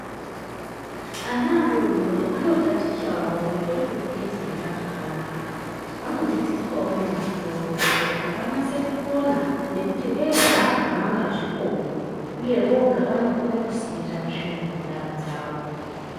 Ana adodori anotatichavo pamusoro pekugeze nyara zvakanaka vanodzidziswavo neakuru kuite kuti vanase kukona nekuti vega havanga zvikoni, uye voga vanokona kusirira tsvina munyara dzavo.